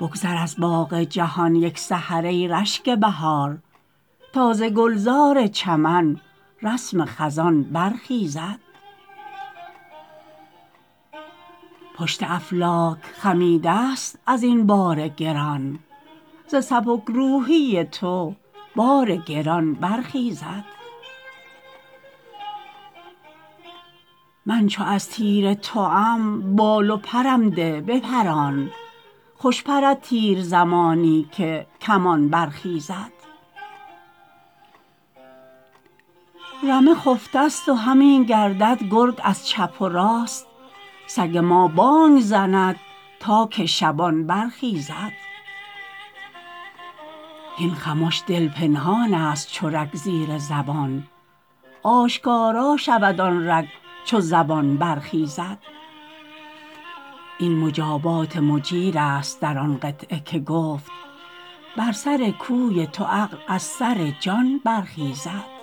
بگذر از باغ جهان یک سحر ای رشک بهار تا ز گلزار چمن رسم خزان برخیزد پشت افلاک خمیدست از این بار گران ز سبک روحی تو بار گران برخیزد من چو از تیر توم بال و پرم ده بپران خوش پرد تیر زمانی که کمان برخیزد رمه خفتست و همی گردد گرگ از چپ و راست سگ ما بانگ زند تا که شبان برخیزد هین خمش دل پنهانست چو رگ زیر زبان آشکارا شود آن رگ چو زبان برخیزد این مجابات مجیرست در آن قطعه که گفت بر سر کوی تو عقل از سر جان برخیزد